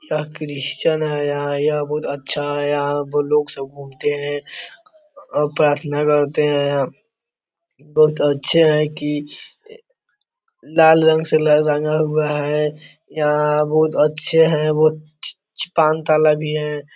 यह क्रिश्चियन है यहां यह बहुत अच्छा है यहां पर लोग सब घूमते हैं और प्रार्थना करते हैं बहुत अच्छे हैं की लाल रंग से रंगा हुआ है यहां बहुत अच्छे हैं वो पांच तल्ला भी है।